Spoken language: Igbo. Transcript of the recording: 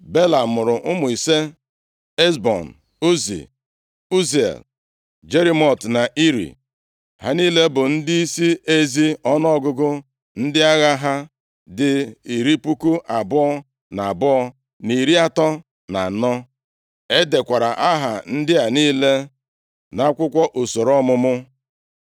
Bela mụrụ ụmụ ise: Ezbon, Uzi, Uziel, Jerimot na Iri. Ha niile bụ ndịisi ezi. Ọnụọgụgụ ndị agha ha dị iri puku abụọ na abụọ na iri atọ na anọ (22,034). E dekwara aha ndị a niile nʼakwụkwọ usoro ọmụmụ.